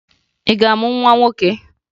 Ị ga-amụ nwa nwoke?